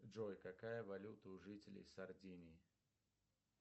джой какая валюта у жителей сардинии